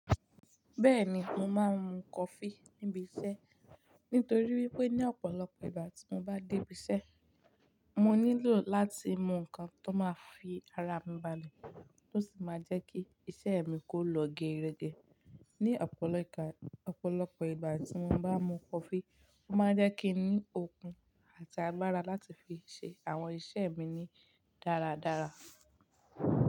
Bẹ́ẹ̀ni mo máa ń mu coffee ní ibi iṣẹ́ nítoríwípé ní ọ̀pọ̀lọpọ̀ ìgbà tí mo bá dé ibi iṣẹ́ mo nílò láti mu ǹkan tó ma fi ara mi balẹ̀ tó sì ma jẹ́ kí iṣẹ́ mi kó lọ geerege ni ọ̀pọ̀lọpọ̀ ìgbà tí mo bá mu coffee, ó máa jẹ́ kí n ní okun àti agbára láti fi ṣe àwọn iṣẹ́ mi ní dáradára.